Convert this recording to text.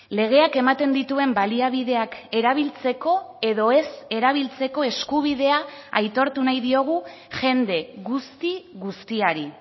legeak ematen dituen baliabideak erabiltzeko edo ez erabiltzeko eskubidea aitortu nahi diogu jende guzti guztiari